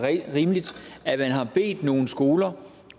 rimeligt at man har bedt nogle skoler